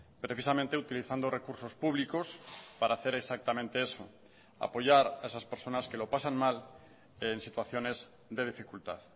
precisamente utilizando recursos públicos para hacer exactamente eso apoyar a esas personas que lo pasan mal en situaciones de dificultad